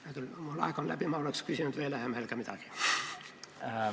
Hea küll, mu aeg on läbi, aga ma oleks hea meelega veel midagi küsinud.